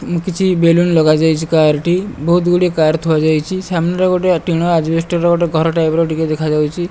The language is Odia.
ମୁଁ କିଛି ବେଲୁନ୍ ଲଗାଯାଇଛି। କାର୍ ଟି ବୋହୁତ ଗୁଡ଼ିଏ କାର ଥୁଆହେଇଚି। ସାମ୍ନାରେ ଗୋଟେ ଟିଣ ଆଜବେଷ୍ଟର ଘର ଟାଇପ୍ ର ଦେଖାଯାଉଚି।